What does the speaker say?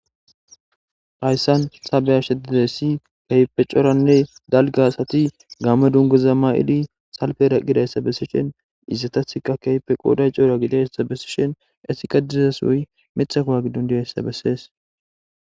Hayssan sabeya sheddessi kaype cooranne dalga hasati gamma dungoza ma7idi salpera qidayssa bessishin izatathka keyfe qooday coora gidassabessishin essika dizesoy mixakowa giddun diyayssa bessees.